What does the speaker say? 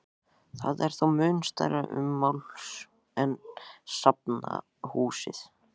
Það er þó mun stærra ummáls en safnahúsið.